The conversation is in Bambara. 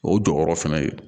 O jɔyɔrɔ fɛnɛ ye